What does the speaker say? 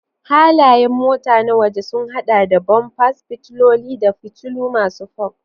Halayen mota na waje sun hada da bumpers, fitiloli, da fitilu masu fog.